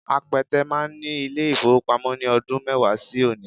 Apẹtẹ máa ní ilé-ìfowópamọ́ ní ọdún mẹ́wàá sí òní